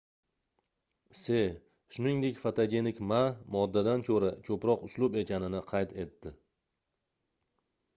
se shuningdek fotogenik ma moddadan koʻra koʻproq uslub ekanini qayd etdi